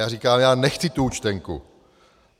Já říkám: Já nechci tu účtenku.